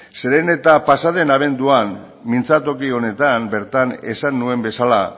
zeren eta pasaden abenduan mintzatoki honetan bertan esan nuen bezala